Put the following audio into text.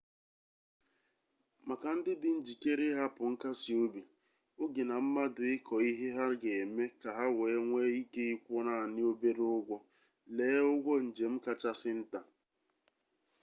maka ndị dị njikere ịhapụ nkasi obi oge na mmadụ ịkọ ihe ha ga-eme ka ha wee nwee ike ịkwụ naanị obere ụgwọ lee ụgwọ njem kachasị nta